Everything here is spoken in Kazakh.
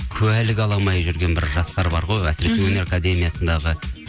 куәлік ала алмай жүрген бір жастар бар ғой әсіресе өнер академиясындағы